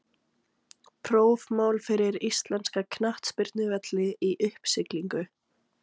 Prófmál fyrir íslenska knattspyrnuvelli í uppsiglingu?